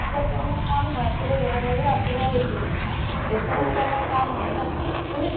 দেখুৱাটো আমাৰ কাম হয় আপুনি লয় নলয় আপোনাৰ এইটো কথা দেখুৱাটোটো আমাৰ কাম হয় না মানে